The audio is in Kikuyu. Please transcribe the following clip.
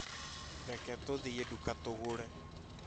Reke tũthiĩ nduka tũgũre